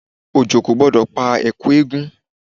Òjò kò gbọ́dọ̀ pa èkú eégún.